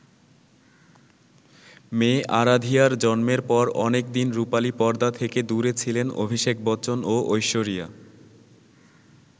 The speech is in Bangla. মেয়ে আরাধিয়ার জন্মের পর অনেক দিন রুপালি পর্দা থেকে দূরে ছিলেন অভিষেক বচ্চন ও ঐশ্বরিয়া।